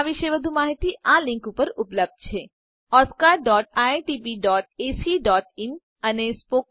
આ મિશન વિશે વધુ માહીતી આ લીંક ઉપર ઉપલબ્ધ છે oscariitbacઇન અને spoken tutorialorgnmeict ઇન્ટ્રો